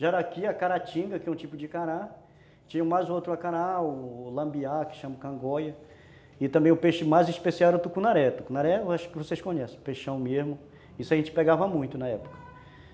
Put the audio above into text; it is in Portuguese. Jaraqui, a caratinga, que é um tipo de cará, tinha mais outro cará, o lambiá, que chama cangoia, e também o peixe mais especial era o tucunaré, o tucunaré eu acho que vocês conhecem, peixão mesmo, isso a gente pegava muito na época.